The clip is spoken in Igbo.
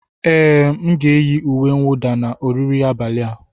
Ee, m ga-eyiri uwe mwụda na oriri abalị a.